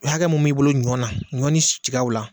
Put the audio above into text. U hakɛ min b'i bolo ɲɔ na ɲɔ ni tigaw la